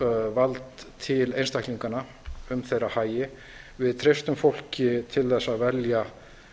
vald til einstaklinganna um þeirra hagi við treystum fólki til að velja